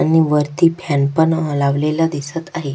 आणि वरती फॅन पण अ लावलेला दिसत आहे.